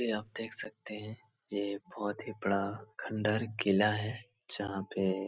ये आप देख सकते हैं ये बहुत ही बड़ा खंडहर किला है | जहां पे --